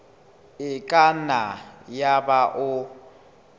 e ka nna yaba o